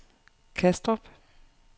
Kastrup